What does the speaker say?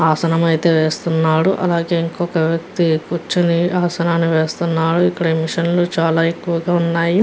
ఆసనం అయితే వేస్తున్నారు అలాగే ఇక్కడ ఒక వ్యక్తి కూర్చొని ఆసనాన్ని వేస్తున్నారు. ఇక్కడ మిషన్ లు చాలా ఎక్కువగా ఉన్నాయి.